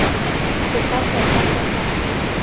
go ka tota go tla